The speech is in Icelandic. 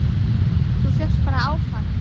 Þú fékkst bara áfall!